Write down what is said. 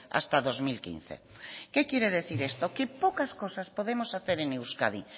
hasta dos mil quince qué quiere decir esto que pocas cosas podemos hacer en euskadi